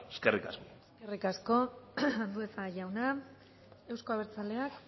eskerrik asko eskerrik asko andueza jauna euzko abertzaleak